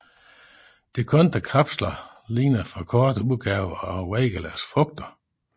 De kantede kapsler ligner forkortede udgaver af Weigelas frugter